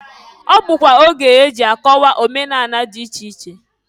Ọ bụkwa oge eji akọwa omenani dị iche iche.